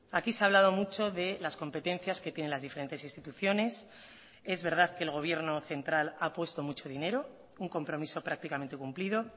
aquí se ha hablado mucho de las competencias que tienen las diferentes instituciones es verdad que el gobierno central ha puesto mucho dinero un compromiso prácticamente cumplido